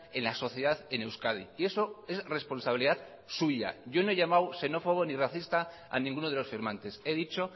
en la sociedad en euskadi y eso es responsabilidad suya yo no he llamado xenófobo ni racista a ninguno de los firmantes he dicho